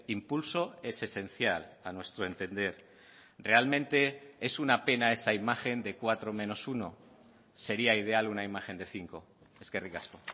impulso es esencial a nuestro entender realmente es una pena esa imagen de cuatro menos uno sería ideal una imagen de cinco eskerrik asko